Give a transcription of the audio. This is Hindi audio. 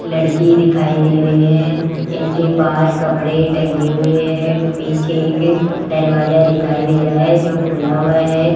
लड़की दिखाई दे रही है इनके पास कपड़े टंगे हुए है पीछे एक दरवाजा दिखाई दे रहा है जो खुला हुआ है।